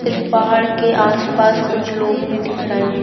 इस पहाड़ के आस-पास कुछ लोग भी दिख रहे है।